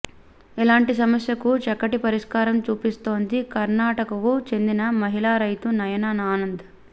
ఇలాంటి సమస్యకు చక్కటి పరిష్కారం చూపిస్తోంది కర్ణాటకకు చెందిన మహిళ రైతు నయనా ఆనంద్